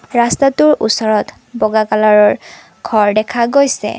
ৰাস্তাটোৰ ওচৰত বগা কালাৰৰ ঘৰ দেখা গৈছে।